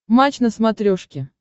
матч на смотрешке